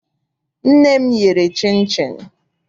Nne m yere chịnchịn.